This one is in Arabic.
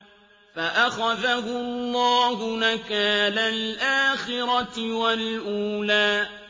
فَأَخَذَهُ اللَّهُ نَكَالَ الْآخِرَةِ وَالْأُولَىٰ